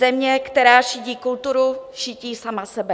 Země, která šidí kulturu, šidí sama sebe.